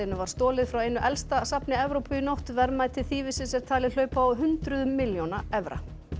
var stolið frá einu elsta safni Evrópu í nótt verðmæti þýfisins er talið hlaupa á hundruðum milljóna evra